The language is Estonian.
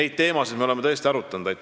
Neid teemasid me oleme tõesti arutanud.